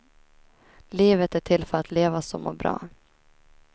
Livet är till för att levas och må bra.